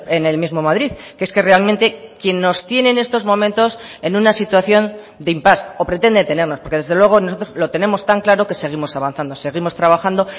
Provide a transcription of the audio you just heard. en el mismo madrid que es que realmente quien nos tiene en estos momentos en una situación de impás o pretende tenernos porque desde luego nosotros lo tenemos tan claro que seguimos avanzando seguimos trabajando